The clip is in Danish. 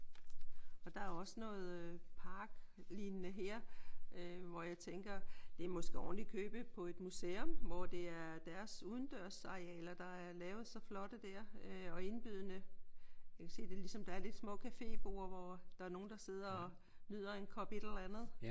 Og der er jo også noget parklignende her øh hvor jeg tænker det er måske ovenikøbet på et museum hvor det er deres udendørsarealer der er lavet så flotte der og indbydende. Jeg kan se det er ligesom der er lidt små caféborde hvor der er nogen der sidder og nyder en kop et eller andet